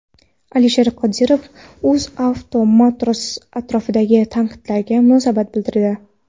Alisher Qodirov UzAuto Motors atrofidagi tanqidlarga munosabat bildirdi.